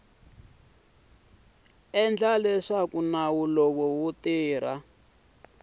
endla leswaku nawu lowu wu